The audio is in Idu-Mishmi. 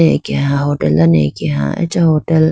akeha hotel dane akeha acha hotel .